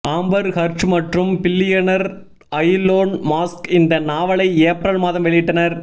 Amber Heard மற்றும் billionaire Elon Musk இந்த நாவலை ஏப்ரல் மாதம் வெளியிட்டனர்